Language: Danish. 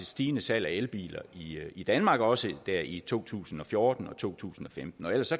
stigende salg af elbiler i danmark også der i to tusind og fjorten og to tusind og femten ellers